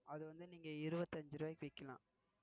அத வந்து நீங்க இருபத்தியஞ்சு ரூபாய்க்கு விக்கலாம்.